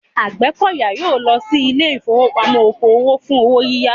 Àgbẹ̀kọ̀yà yóò lọ sí ilé ìfowópamọ́ oko òwò fún owó yíyá